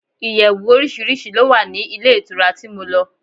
Ìyẹ̀wù oríṣiríṣi ló wà ní ilé ìtura tí mo lọ.